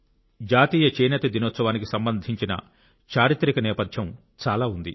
జాతీయ చేనేత దినోత్సవానికి సంబంధించిన చారిత్రక నేపథ్యం చాలా ఉంది